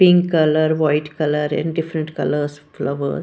Pink color white color and different colors flowers.